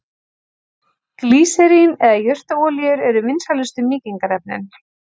Glýserín eða jurtaolíur eru vinsælustu mýkingarefnin.